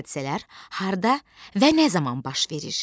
Hadisələr harda və nə zaman baş verir?